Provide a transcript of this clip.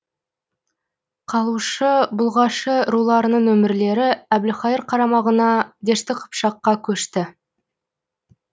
қалушы бұлғашы руларының өмірлері әбілқайыр қарамағына дешті қыпшаққа көшті